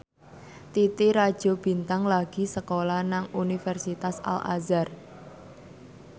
Titi Rajo Bintang lagi sekolah nang Universitas Al Azhar